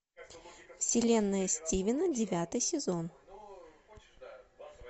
вселенная стивена девятый сезон